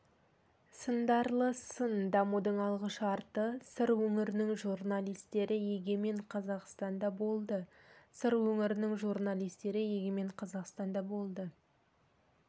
сындарлы сын дамудың алғышарты сыр өңірінің журналистері егемен қазақстанда болды сыр өңірінің журналистері егемен қазақстанда болды